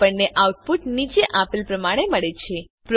આપણને આઉટપુટ નીચે આપેલ પ્રમાણે મળે છે